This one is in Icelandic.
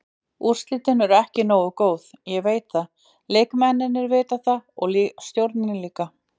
Úrslitin eru ekki nógu góð, ég veit það, leikmennirnir vita það og stjórnin líka.